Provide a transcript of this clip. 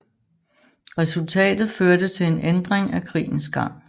Resultatet førte til en ændring af krigens gang